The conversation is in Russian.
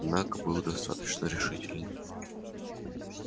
голос его однако был достаточно решителен